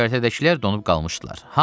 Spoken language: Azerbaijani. Göyərtədəkilər donub qalmışdılar.